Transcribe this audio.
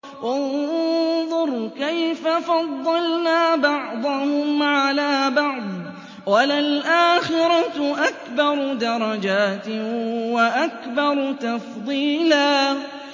انظُرْ كَيْفَ فَضَّلْنَا بَعْضَهُمْ عَلَىٰ بَعْضٍ ۚ وَلَلْآخِرَةُ أَكْبَرُ دَرَجَاتٍ وَأَكْبَرُ تَفْضِيلًا